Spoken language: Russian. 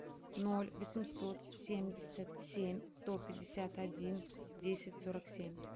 ноль восемьсот семьдесят семь сто пятьдесят один десять сорок семь